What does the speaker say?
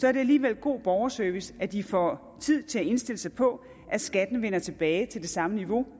er det alligevel god borgerservice at de får tid til at indstille sig på at skatten vender tilbage til det samme niveau